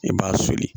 I b'a soli